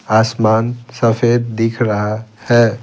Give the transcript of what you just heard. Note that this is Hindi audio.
आसमान सफेद दिख रहा है।